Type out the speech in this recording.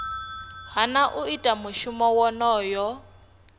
hana u ita mushumo wonoyo